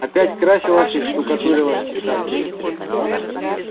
опять красилась и штукатурилась часа три